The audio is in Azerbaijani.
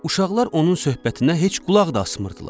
Uşaqlar onun söhbətinə heç qulaq da asmırdılar.